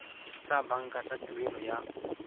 tsa banka tsa tuelo ya